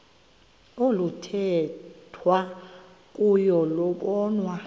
oluthethwa kuyo lobonwa